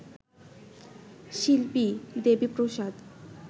শিল্পী দেবীপ্রসাদ